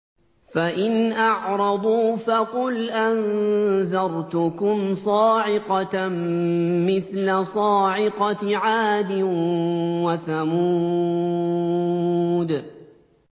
فَإِنْ أَعْرَضُوا فَقُلْ أَنذَرْتُكُمْ صَاعِقَةً مِّثْلَ صَاعِقَةِ عَادٍ وَثَمُودَ